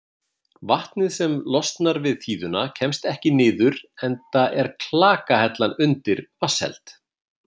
Vatnið sem losnar við þíðuna kemst ekki niður enda er klakahellan undir vatnsheld.